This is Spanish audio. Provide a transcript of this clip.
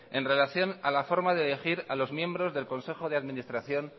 en relación a la forma de elegir a los miembros del consejo de administración